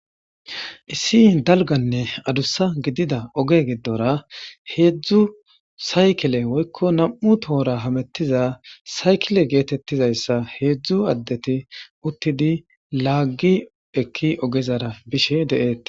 issi dalganne adussa gidida oge giddora heedzdzu saykile woykko nam7u tohora hamettiza saykile geetettizayssa heedzdzu addeti uttidi laaggi ekki ogezara bishe deette